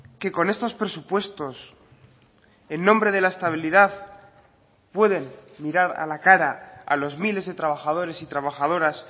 que con estos presupuestos en nombre de la estabilidad pueden mirar a la cara a los miles de trabajadores y trabajadoras